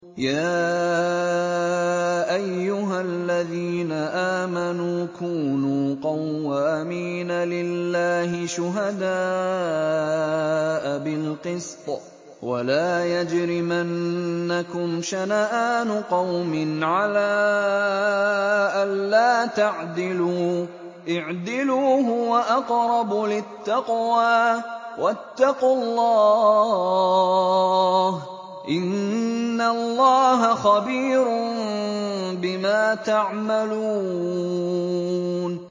يَا أَيُّهَا الَّذِينَ آمَنُوا كُونُوا قَوَّامِينَ لِلَّهِ شُهَدَاءَ بِالْقِسْطِ ۖ وَلَا يَجْرِمَنَّكُمْ شَنَآنُ قَوْمٍ عَلَىٰ أَلَّا تَعْدِلُوا ۚ اعْدِلُوا هُوَ أَقْرَبُ لِلتَّقْوَىٰ ۖ وَاتَّقُوا اللَّهَ ۚ إِنَّ اللَّهَ خَبِيرٌ بِمَا تَعْمَلُونَ